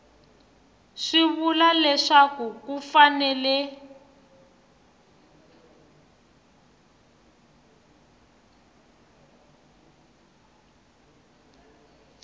swi vula leswaku ku fanele